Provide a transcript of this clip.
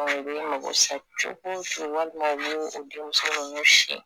mago sa cogo o cogo walima u b'u denmuso ninnu si